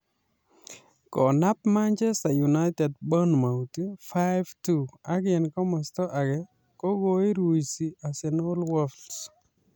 konab Machester United Bournmouth 5-2 ak en komosto age kogoiruisi Arsenal Wolves